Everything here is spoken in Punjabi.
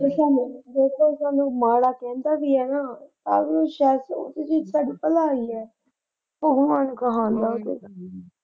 ਜੇ ਸਾਨੂੰ ਜੇਕਰ ਕੋਈ ਸਾਨੂੰ ਮਾੜਾ ਕਹਿੰਦਾ ਵੀ ਏ ਨਾ ਤਾਂ ਵੀ ਸ਼ਾਇਦ ਉਸ ਵਿੱਚ ਤੁਹਾਡੀ ਭਲਾਈ ਏ। ਆਹੋ ਇਹ .